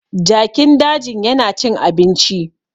Jakin dajin yana cin abinci